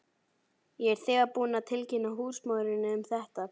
Ég er þegar búinn að tilkynna húsmóðurinni um þetta.